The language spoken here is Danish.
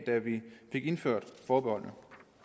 da vi fik indført forbeholdene